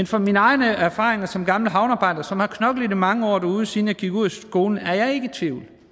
fra mine egne erfaringer som gammel havnearbejder som har knoklet mange år derude siden jeg gik ud af skolen er jeg ikke i tvivl